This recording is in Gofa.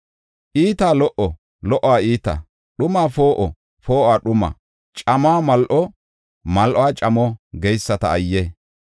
Iitaa lo77o, lo77uwa iita; dhumaa poo7o, poo7uwa dhuma; camuwa mal7o, mal7uwa camo geyisata ayye!